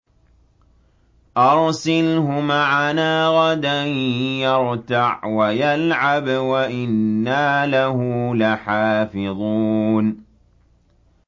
أَرْسِلْهُ مَعَنَا غَدًا يَرْتَعْ وَيَلْعَبْ وَإِنَّا لَهُ لَحَافِظُونَ